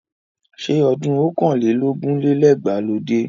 Ṣé ọdún ọ̀kàn lé lógún lé lẹ́gbàá ló dé?